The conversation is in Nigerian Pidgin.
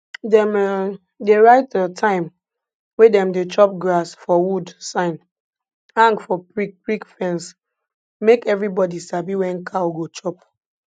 dem um dey write um time wey dem dey chop grass for wood sign hang for prickprick fence make everybody sabi when cow go chop